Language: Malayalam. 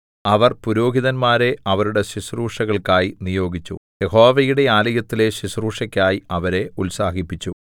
അവൻ പുരോഹിതന്മാരെ അവരുടെ ശുശ്രൂഷകൾക്കായി നിയോഗിച്ചു യഹോവയുടെ ആലയത്തിലെ ശുശ്രൂഷയ്ക്കായി അവരെ ഉത്സാഹിപ്പിച്ചു